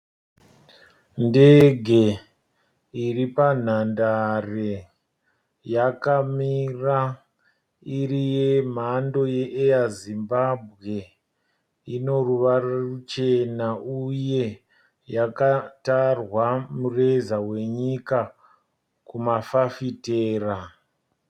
Ndege iripa nhandare yakamira iri yemhando Air Zimbabwe. Ine ruvara ruchena uye yakatarwa mureza wenyika kuma mafafitera.